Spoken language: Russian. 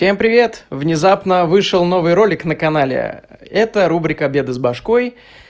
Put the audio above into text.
всем привет внезапно вышел новый ролик на канале это рубрика беды с башкой